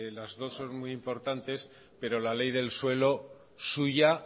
las dos son muy importantes pero la ley del suelo suya